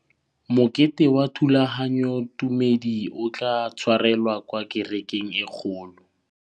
Mokete wa thulaganyôtumêdi o tla tshwarelwa kwa kerekeng e kgolo.